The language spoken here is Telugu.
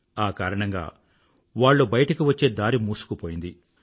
ఆ కారణంగా వాళ్ళు బయటకు వచ్చే దారి మూసుకుపోయింది